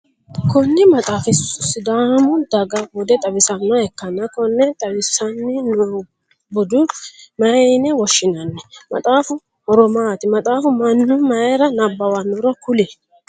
Kunni maxaafi sidaamu daga Bude xawisanoha ikanna konne xawissanni noobude mayine woshinnanni? Maxaafu horo maati? Maxaafa Manu mayira nabawanoro kuli?